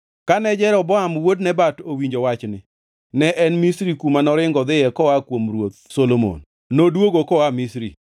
Kane Jeroboam wuod Nebat nowinjo wachni (ne en Misri kuma noringo odhiye koa kuom Ruoth Solomon), noduogo koa Misri.